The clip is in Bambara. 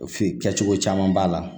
F'i kɛcogo caman b'a la